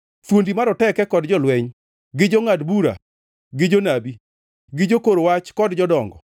thuondi maroteke kod jolweny, gi jongʼad bura gi jonabi gi jokor wach kod jodongo,